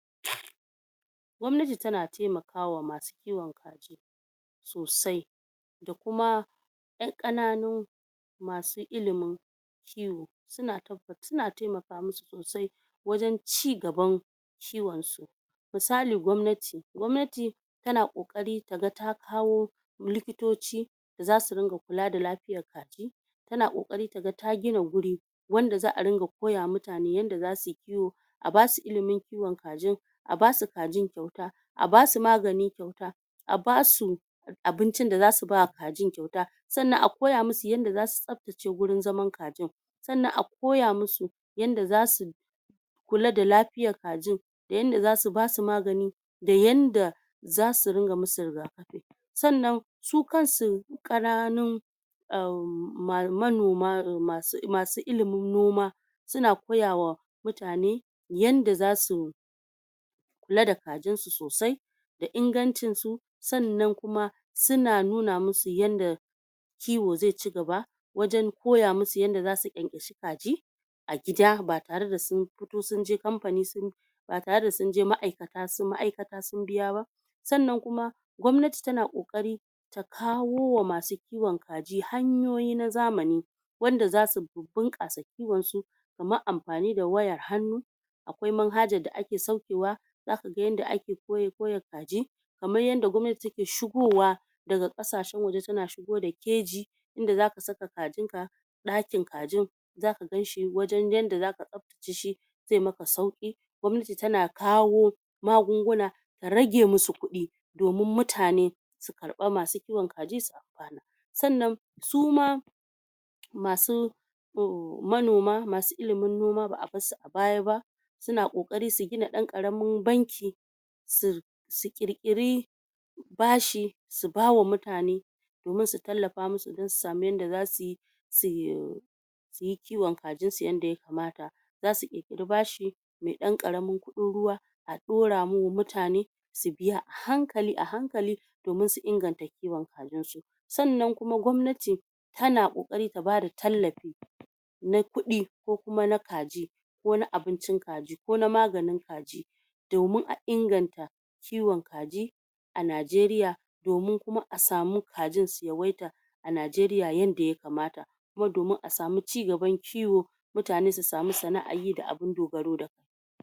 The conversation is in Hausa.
gommananti tana taima kawa masu kiwon kaji sossai da kuma yan kannanu masu illimin kiwo suna taba.. suna taimaka musu sosai wajen cigaban kiwon su misali gomnati, gomnati tana kokarin taga ta kawo likitoci zasu ringa kula da lafiyyar ɗa tana kokari taga ta gina guri wanda za a ringa koyawa mutane yanda zasu yi kiwo a basu illimin kiwon kajin a basu kajin kauta, a basu magani kauta, a basu abincin da zasu ba kajin kauta, sannan a koya musu yanda zasu zaftace gurin zaman kajin san nan a koya musu yanda za su kula da lafiya kajin da yanda zasu basu magani da yanda zasu ringa musu rigakafi sannan su kan su kananun um manoma um masu illimin noma suna koyawa mutane yanda zasu kula da kajin su sosai da inga jin su sannan kuma suna nuna musu yanda kiwo ze chigaba wajen koya musu yanda zasu ƘyanƘya shi kaji a gida ba tare da sun fito sun je kamfani sun ba tare da sun je ma'aikata sun ma'aikata sun biya ba sannan kuma gomnati tana kokari ta kawowa masu kiwon kaji hanyoyi na zamani wanda zasu bunkasa kiwon su kamar anfani da waya hannu akwai man hajar da ake sauke wa daka ga yanda ake koya koya kaji kaman yanda gomnati take shigo wa daga kasashen waje tan shigo da keji inda zaka saka kajin ka dakin kajin zaka gan shi wajen yanda zaka zafta ce shi zemakasauki gomnati tana kawo magunguna rage musu kudi domin mutane su karbi masu kiwon kaji sa kwana sannan suma masu um manooma ba a basu a baya ba suna kokari su gina ɗan karamin banki su su kir kiri bashi su bawa mutane domin su talafa musu ɗan su sami yanda za su yi ɗ su yi yi kiwon kajin su yanda ya kamata za su kirkiri bashi me ɗan karamin kudin ruwa a ɗora mu mutane su biya a hankali a hankali domin su ingan ta kiwon kajin su sanna kuma gomnati tana kokari ta ba da tallafi na kudi kokuma na kaji ko na abincin kaji, ko na maganin kaji domin a ingan ta kiwon kaji a naijeria domin kuma a smi kajin su yawaita a naijeria yanda ya kamata kuma domin a sami cigaban kiwo mutane su sami sana'an yi da abin dogaro da. da